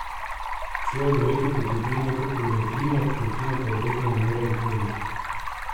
Človek verjetno pridobi neko kilometrino, rutine pa verjetno ne more nikoli.